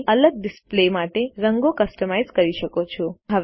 તમે અલગ ડિસ્પ્લે માટે રંગો કસ્ટમાઇઝ કરી શકો છો